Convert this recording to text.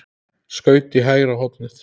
Skaut í hægra hornið.